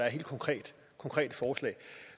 af helt konkrete konkrete forslag